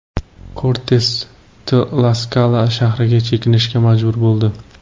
Kortes Tlaskala shahriga chekinishga majbur bo‘ldi.